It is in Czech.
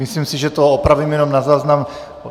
Myslím si, že to opravím jenom na záznam.